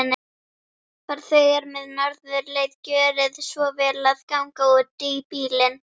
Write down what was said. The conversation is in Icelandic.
Farþegar með Norðurleið, gjörið svo vel að ganga útí bílinn.